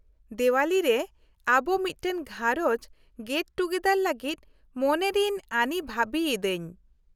-ᱫᱮᱶᱟᱞᱤᱨᱮ ᱟᱵᱚ ᱢᱤᱫᱴᱟᱝ ᱜᱷᱟᱨᱚᱡᱽ ᱜᱮᱴ ᱴᱩᱜᱮᱫᱟᱨ ᱞᱟᱜᱤᱫ ᱢᱚᱱᱮᱨᱤᱧ ᱟᱱᱤ ᱵᱷᱟᱵᱤᱭ ᱤᱫᱟᱹᱧ ᱾